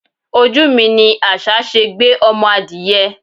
Ojú mi ní àṣà ṣe gbé ọmọ adìẹ.